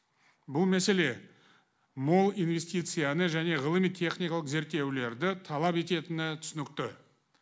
бұл мәселе мол инвестицияны және ғылыми техникалық зерттеулерді талап ететіні түсінікті